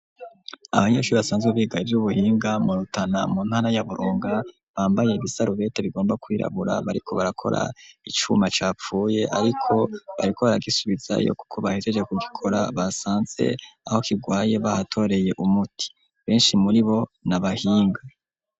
Abanyeshuri, basanzwe biga, ivy'ubuhinga, mu Rutana, mu ntana ya Burunga, bambaye ibisarubete, bigomba kwirabura, bariko barakora, icuma capfuye; ariko bariko baragisubizayo, kuko bahejeje kugikora, basanze aho kigwaye, bahatoreye umuti, benshi muri bo, ni abahinga.